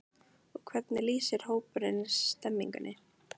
Og hvernig lýsir hópurinn stemningunni?